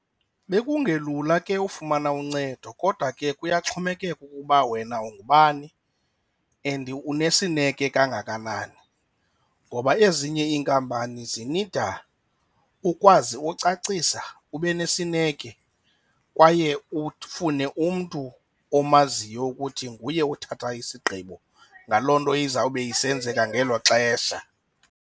Bekungelula ke ufumana uncedo kodwa ke kuyaxhomekeka ukuba wena ungubani and unesineke kangakanani ngoba ezinye inkampani zinida ukwazi ucacisa, ube nesineke kwaye ufune umntu omaziyo ukuthi nguye othatha isigqibo ngaloo nto izawube isenzeka ngelo xesha.